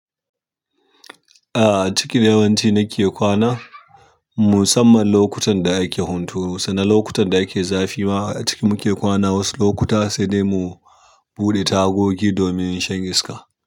A'a, a ciki yawanci nake kwana musamman lokutan da ake huturu sannan lokutan da ake zafi ma a ciki muke kwana. Wasu lokuta sai dai mu buɗe tagogi domin shan iska.